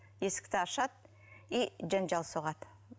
есікті ашады и жанжал соғады